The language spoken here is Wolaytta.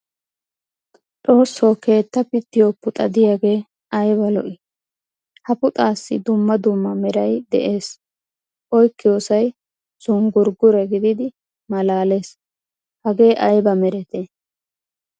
Xoosso keettaa pitiyo puxa diyagee ayba lo"ii ! Ha puxaassi dumma dumma meray de'ees. Oykkiyossay zunggurggure gididi malaalees, hagee ayba meretee?